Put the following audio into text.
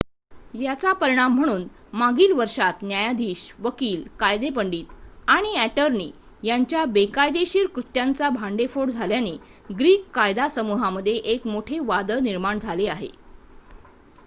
याचा परिणाम म्हणून मागील वर्षात न्यायाधीश वकील कायदेपंडित आणि ॲटर्नी यांच्या बेकायदेशीर कृत्यांचा भांडेफोड झाल्याने ग्रीक कायदा समूहामध्ये एक मोठे वादळ निर्माण झाले आहे